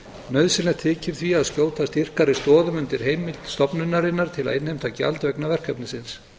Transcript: nauðsynlegt þykir því að skjóta styrkari stoðum undir heimild stofnunarinnar til að innheimta gjald vegna verkefnisins